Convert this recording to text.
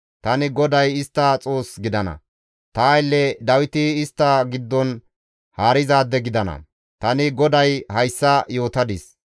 Tani GODAY istta Xoos gidana; ta aylle Dawiti istta giddon haarizaade gidana; tani GODAY hayssa yootadis.